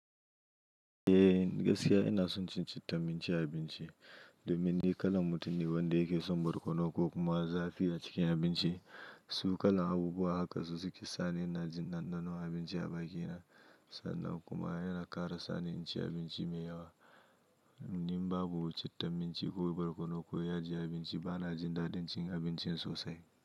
Gaskiya ina son cin citta cikin abinci domin ni kalan mutum ne wanda yake son barkono ko kuma zafi a cikin abinci. Su kalan abubuwa haka su suke sa ni ina jin ɗanɗano abinci a bakina sannan kuma yana ƙara sa ni in ci abinci mai yawa. In babu citta ko barkono ko yaji a abinci bana jin daɗin cin abincin sosai.